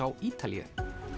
á Ítalíu